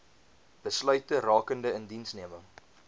besluite rakende indiensneming